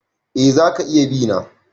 Eh za ka iya bi na.